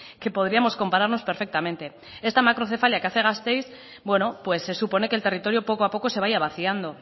que podríamos compararnos perfectamente esta macrocefalia que hace gasteiz bueno pues se supone que el territorio poco a poco se vaya vaciando